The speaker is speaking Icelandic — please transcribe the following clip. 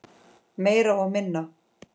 Meira og minna.